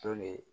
Tolen